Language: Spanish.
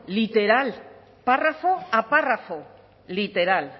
literal párrafo a párrafo literal